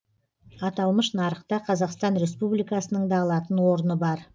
аталмыш нарықта қазақстан республикасының да алатын орны бар